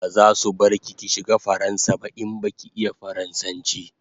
Bazasu bar ki ki shiga faransa ba in baki iya faransanchi